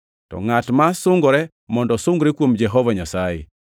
To, “Ngʼat ma sungore mondo osungre kuom Jehova Nyasaye.” + 10:17 \+xt Jer 9:24\+xt*